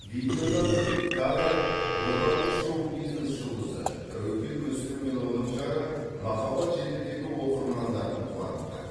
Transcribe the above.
видеодан кадр отандық шоу бизнес жұлдызы тәуекел мүсілім мен оның жары махаббат желідегі оқырмандарын қуантты